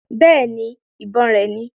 Bẹ́ẹ̀ni, ìbọn rẹ̀ ni